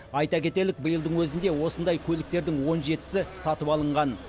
айта кетейік биылдың өзінде осындай көліктердің он жетісі сатып алынған